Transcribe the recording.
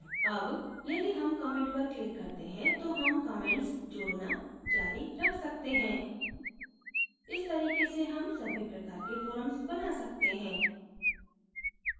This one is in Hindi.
add यदि हम comment पर click करते हैं तो हम comments जोडना जारी रख सकते हैं इस तरीके से हम सभी प्रकार के forums now सकते हैं